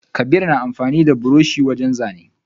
Kabir na amfani da buroshi wajen zana.